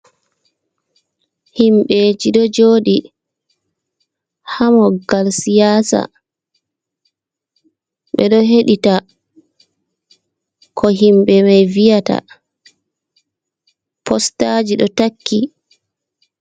Himbe ji ɗo joɗi ha moggal siyasa, ɓe ɗo hedita ko himɓe mai viyata, postaji do takki.